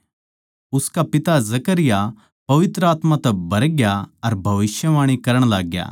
उसका पिता जकरयाह पवित्र आत्मा तै भरग्या अर भविष्यवाणी करण लाग्या